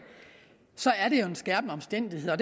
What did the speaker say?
så er det jo en skærpende omstændighed og